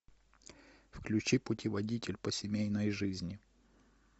включи путеводитель по семейной жизни